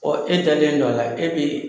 Ɔ e dalen dɔ la e bɛ